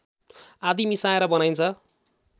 आदि मिसाएर बनाइन्छ